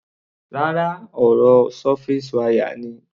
Rárá, ọ̀rọ̀ surface wire ni.